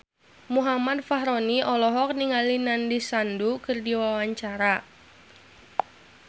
Muhammad Fachroni olohok ningali Nandish Sandhu keur diwawancara